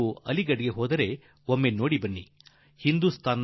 ನೀವೂ ಯಾವಾಗಲಾದರೂ ಅಲಿಘಡಕ್ಕೆ ಹೋದರೆ ರೈಲ್ವೆ ಸ್ಟೇಷನ್ ಖಂಡಿತಾ ನೋಡಿ ಬನ್